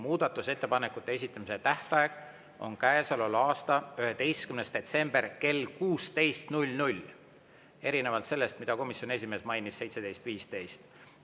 Muudatusettepanekute esitamise tähtaeg on käesoleva aasta 11. detsember kell 16, erinevalt sellest, mida komisjoni esimees mainis – 17.15.